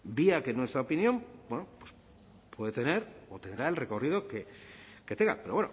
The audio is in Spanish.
vale vía que en nuestra opinión puede tener o tendrá el recorrido que tenga pero